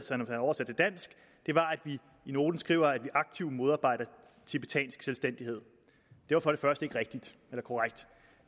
vi i noten skriver at vi aktivt modarbejder tibetansk selvstændighed det var for det første ikke rigtigt eller korrekt